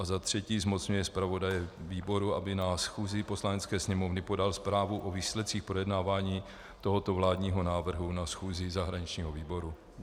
A za třetí zmocňuje zpravodaje výboru, aby na schůzi Poslanecké sněmovny podal zprávu o výsledcích projednávání tohoto vládního návrhu na schůzi zahraničního výboru.